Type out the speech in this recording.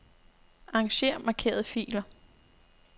Arranger markerede filer.